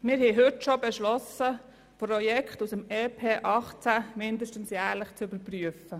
Wir haben heute schon beschlossen, Projekte aus dem EP 2018 mindestens jährlich zu überprüfen.